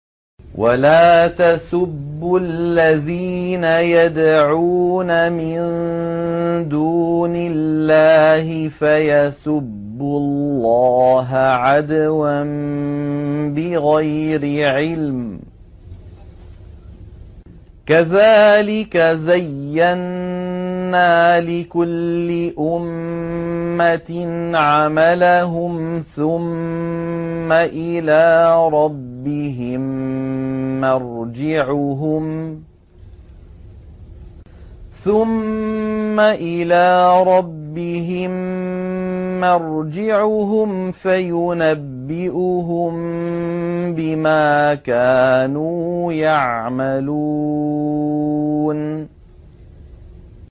وَلَا تَسُبُّوا الَّذِينَ يَدْعُونَ مِن دُونِ اللَّهِ فَيَسُبُّوا اللَّهَ عَدْوًا بِغَيْرِ عِلْمٍ ۗ كَذَٰلِكَ زَيَّنَّا لِكُلِّ أُمَّةٍ عَمَلَهُمْ ثُمَّ إِلَىٰ رَبِّهِم مَّرْجِعُهُمْ فَيُنَبِّئُهُم بِمَا كَانُوا يَعْمَلُونَ